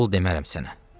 Oğul demərəm sənə.